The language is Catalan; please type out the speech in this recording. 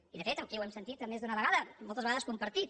i de fet aquí ho hem sentit més d’una vegada moltes vegades compartit